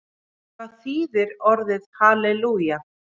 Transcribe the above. Hvað þýðir orðið halelúja?